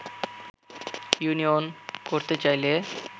union করতে চাইলে